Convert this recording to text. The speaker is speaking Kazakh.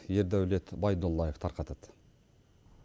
ердәулет байдуллаев тарқатады